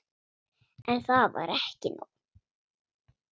En það var ekki nóg.